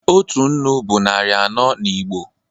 Otu nnu bụ narị anọ n'Igbo